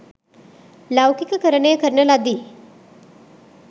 ලෞකිකකරණය කරන ලදී